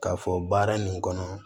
K'a fɔ baara nin kɔnɔ